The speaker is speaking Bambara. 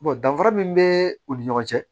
danfara min bɛ u ni ɲɔgɔn cɛ